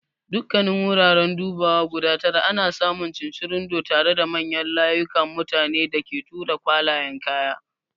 Dukkanin wuraren dubawa guda tara ana samun cincirundo tare da manyan layukan mutanen da ke tura kwalayen kaya.